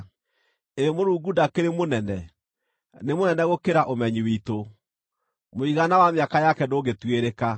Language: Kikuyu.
Ĩ Mũrungu ndakĩrĩ mũnene; nĩ mũnene gũkĩra ũmenyi witũ! Mũigana wa mĩaka yake ndũngĩtuĩrĩka.